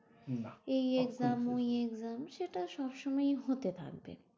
এই exam ওই exam সেটা সবসময়ই হতে থাকবে।